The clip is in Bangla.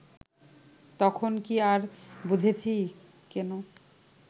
তখন কি আর বুঝেছি কেন